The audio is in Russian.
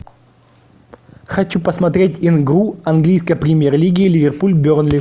хочу посмотреть игру английской премьер лиги ливерпуль бернли